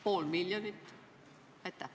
Pool miljonit?